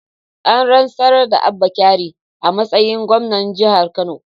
An rantsar da Abba Kabir a matsayin gwamna jihar Kano